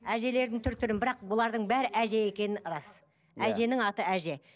әжелердің түр түрін бірақ бұлардың бәрі әже екені рас әженің аты әже